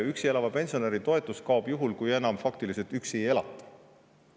Üksi elava pensionäri toetus kaob juhul, kui enam faktiliselt üksi ei elata.